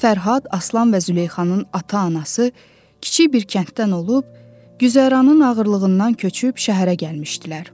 Fərhad, Aslan və Züleyxanın ata-anası kiçik bir kənddən olub, güzəranın ağırlığından köçüb şəhərə gəlmişdilər.